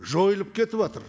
жойылып кетіватыр